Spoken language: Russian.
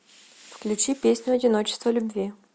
включи песню одиночество любви